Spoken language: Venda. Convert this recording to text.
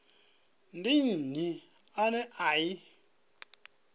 ndi nnyi ane a i